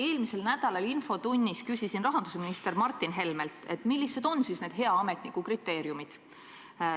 Eelmise nädala infotunnis küsisin rahandusminister Martin Helmelt, millised on need hea ametniku kriteeriumid.